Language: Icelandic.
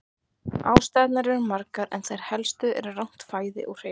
Ástæðurnar eru margar en þær helstu eru rangt fæði og hreyfingarleysi.